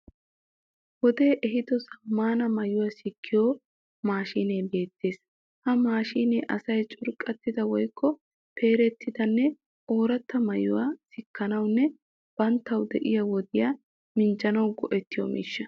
Wodee ehiido zaammaana maayuwa sikkiyo maashinee beettees. Ha maashine asay curqqattida woyikko peerettidanne ooratta maayuwa sikkanawunne banttawu de'iya wodiya minjjanawu go'ettiyo miishsha.